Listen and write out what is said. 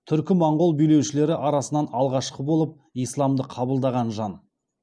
түркі моңғол билеушілері арасынан алғашқы болып исламды қабылдаған жан